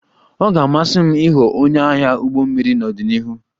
Ọ ga-amasị m ịghọ onye agha ụgbọ mmiri n'ọdịnihu